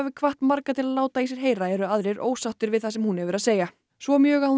hvatt marga til að láta í sér heyra eru aðrir ósáttir við það sem hún hefur að segja svo mjög að hún